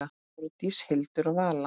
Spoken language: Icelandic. Þórdís, Hildur og Vala.